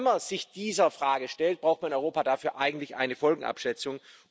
Aber wenn man sich dieser Frage stellt, braucht man in Europa dafür eigentlich eine Folgenabschätzung.